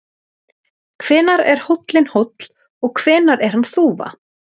Hvenær er hóllinn hóll og hvenær er hann þúfa?